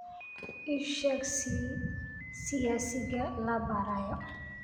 ii sheeg siyaasiga la baarayo